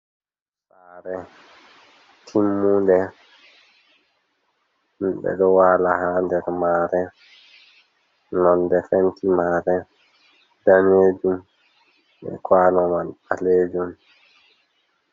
Sare timmude ɓedo wala hader mare, nonde penti mare danejum be kwano man balejum.